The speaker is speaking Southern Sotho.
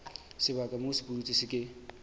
sebaka moo sepudutsi se ke